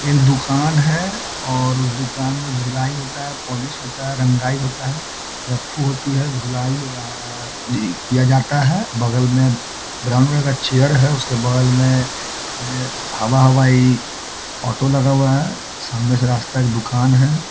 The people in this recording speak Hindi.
एक दुकान है और उस दुकान में धुलाई होता है पोलिश होता है रंगाई होता है रफ्फु होती है धुलाई व् डी किया जाता है बगल में ब्राउन रंग का चेयर है उसके बगल में है हवा-हवाई ऑटो लगा हुआ है सामने से रस्ता एक दुकान है |